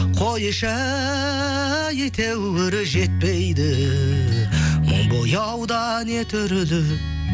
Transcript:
қойшы әйтеуір жетпейді мың бояуда не түрді